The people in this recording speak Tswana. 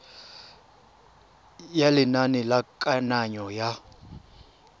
ya lenane la kananyo ya